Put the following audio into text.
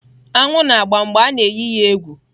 Aṅụ na-agba mgbe a na-eyi ha egwu.